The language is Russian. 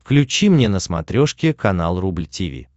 включи мне на смотрешке канал рубль ти ви